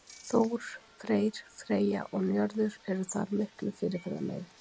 Þór, Freyr, Freyja og Njörður eru þar miklu fyrirferðarmeiri.